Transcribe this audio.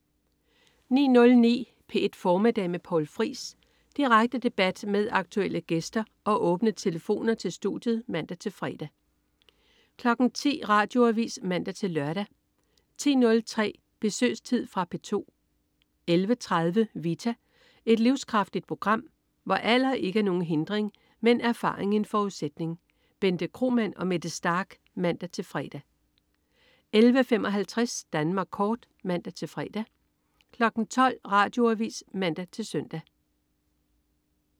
09.09 P1 Formiddag med Poul Friis. Direkte debat med aktuelle gæster og åbne telefoner til studiet (man-fre) 10.00 Radioavis (man-lør) 10.03 Besøgstid. Fra P2 11.30 Vita. Et livskraftigt program, hvor alder ikke er nogen hindring, men erfaring en forudsætning. Bente Kromann og Mette Starch (man-fre) 11.55 Danmark Kort (man-fre) 12.00 Radioavis (man-søn)